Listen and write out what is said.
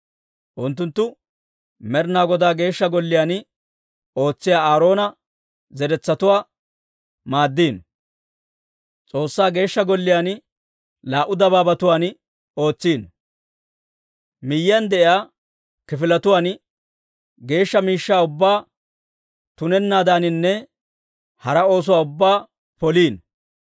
Unttunttu Med'inaa Godaa Geeshsha Golliyaan ootsiyaa Aaroona zeretsatuwaa maaddino. S'oossaa Geeshsha Golliyaan laa"u dabaabatuwaan ootsino; Miyiyaan de'iyaa kifiletuwaan, geeshsha miishshaa ubbaa tunennaadaninne hara oosuwaa ubbaa poliino.